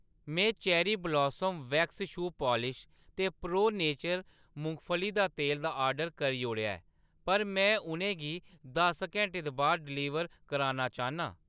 में cherry blossom wax shoe polish ते pro nature मुंगफली दा तेल दा ऑर्डर करी ओड़ेआ ऐ, पर में उʼनें गी दस घैंटे दे बा`द डलीवर कराना चाह्‌न्नां।